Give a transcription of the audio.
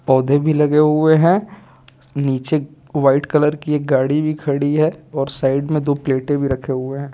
पौधे भी लगे हुए हैं नीचे वाइट कलर की एक गाड़ी भी खड़ी है और साइड में दो प्लेटें भी रखे हुए हैं।